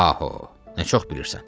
Paho, nə çox bilirsən.